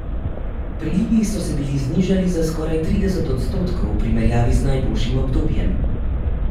Prilivi so se bili znižali za skoraj trideset odstotkov v primerjavi z najboljšim obdobjem.